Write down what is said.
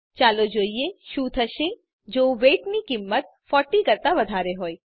ચાલો જોઈએ શું થશે જો વેઇટ ની કિંમત 40 કરતાં વધારે હોય